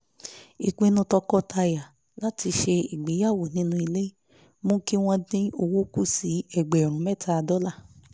ìpinnu tọkọtaya láti ṣe ìgbéyàwó nínú ilé mú kí wọ́n dín owó kù sí ẹgbẹ̀rún mẹ́ta dọ́là